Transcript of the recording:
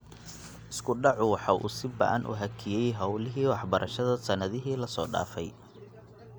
Isku dhacu waxa uu si ba'an u hakiyay hawlihii waxbarashada sannadihii la soo dhaafay.